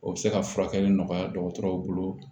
O bɛ se ka furakɛli nɔgɔya dɔgɔtɔrɔw bolo